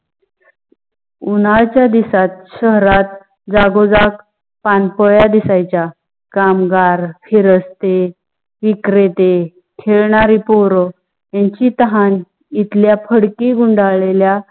उन्हाळ्याच्या दिवसात शहरात जागो जाग पान पोया दिसायच्या कामगार, फिरस्ते, विक्रेते, खेलनारी पोर यांची ताहन इथलिया फडकी गुंडाळल्या